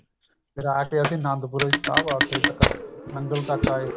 ਰਾਤ ਨੂੰ ਅੱਸੀ ਆਨੰਦਪੁਰ ਸਾਹਿਬ ਏ ਉਥੇ ਤੱਕ ਨੰਗਲ ਤੱਕ ਆਏ